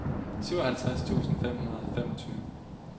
syvoghalvtreds tusind fem hundrede og femogtyve